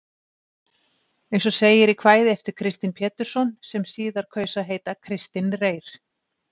Eins og segir í kvæði eftir Kristin Pétursson, sem síðar kaus að heita Kristinn Reyr.